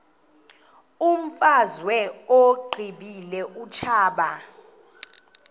imfazwe uyiqibile utshaba